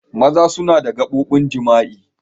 Maza suna da gaɓobin jima'i.